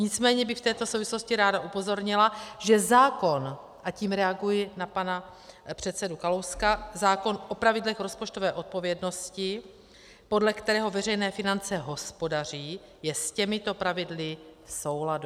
Nicméně bych v této souvislosti ráda upozornila, že zákon - a tím reaguji na pana předsedu Kalouska - zákon o pravidlech rozpočtové odpovědnosti, podle kterého veřejné finance hospodaří, je s těmito pravidly v souladu.